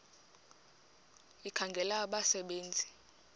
ekhangela abasebe nzi